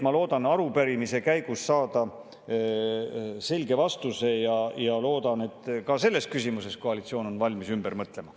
Ma loodan arupärimise käigus saada selge vastuse ja loodan, et ka selles küsimuses koalitsioon on valmis ümber mõtlema.